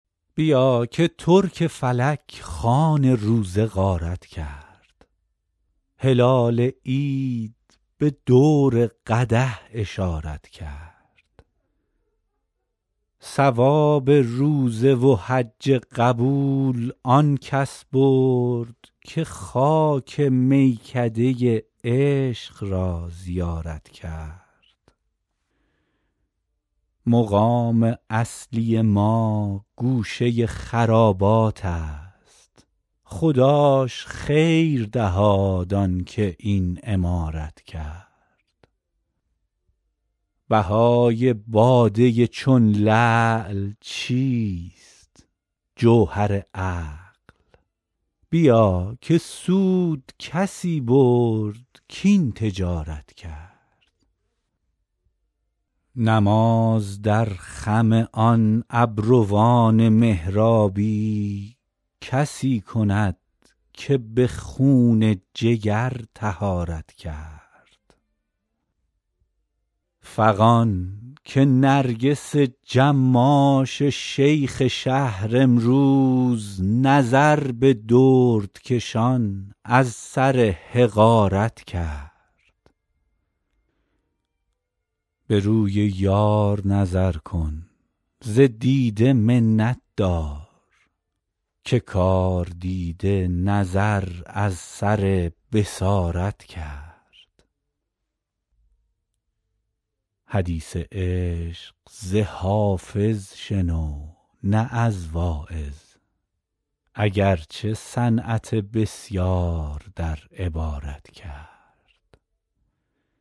بیا که ترک فلک خوان روزه غارت کرد هلال عید به دور قدح اشارت کرد ثواب روزه و حج قبول آن کس برد که خاک میکده عشق را زیارت کرد مقام اصلی ما گوشه خرابات است خداش خیر دهاد آن که این عمارت کرد بهای باده چون لعل چیست جوهر عقل بیا که سود کسی برد کاین تجارت کرد نماز در خم آن ابروان محرابی کسی کند که به خون جگر طهارت کرد فغان که نرگس جماش شیخ شهر امروز نظر به دردکشان از سر حقارت کرد به روی یار نظر کن ز دیده منت دار که کاردیده نظر از سر بصارت کرد حدیث عشق ز حافظ شنو نه از واعظ اگر چه صنعت بسیار در عبارت کرد